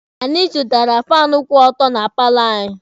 Anyị zụtara faanụ kwụ ọtọ na paalọ anyị.